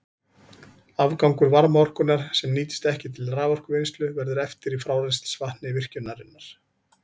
Afgangur varmaorkunnar, sem nýtist ekki til raforkuvinnslu, verður eftir í frárennslisvatni virkjunarinnar.